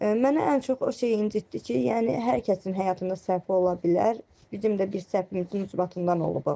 Mənə ən çox o şey incitdi ki, yəni hər kəsin həyatında səhv ola bilər, bizim də bir səhvimizin isbatından olub o.